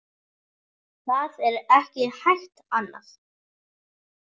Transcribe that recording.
Það er ekki hægt annað.